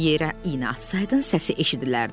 Yerə iynə atsaydın səsi eşidilərdi.